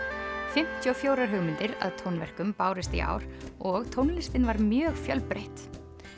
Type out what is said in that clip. fimmtíu og fjórar hugmyndir að tónverkum bárust í ár og tónlistin var mjög fjölbreytt